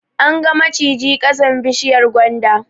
An ga mijiji ƙasan bishiyar gwanda